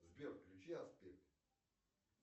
сбер включи аспир